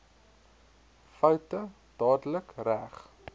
foute dadelik reg